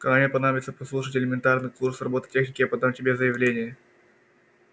когда мне понадобится прослушать элементарный курс роботехники я подам тебе заявление